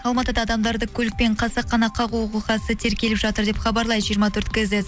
алматыда адамдарды көлікпен қасақана қағу оқиғасы тергеліп жатыр деп хабарлайды жиырма төрт кейзет